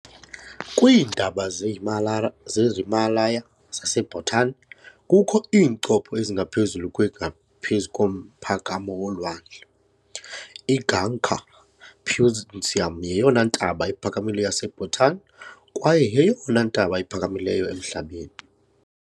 Kwiintaba ze-Himalaya ze-Himalaya zaseBhutan, kukho iincopho ezingaphezulu kwengaphezu komphakamo wolwandle. IGangkhar Puensum yeyona ntaba iphakamileyo yaseBhutan kwaye yeyona ntaba iphakamileyo emhlabeni.